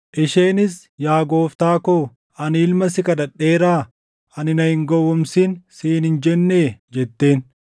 Isheenis, “Yaa gooftaa koo ani ilma si kadhadheeraa? Ani, ‘Na hin gowwoomsin’ siin hin jennee?” jetteen.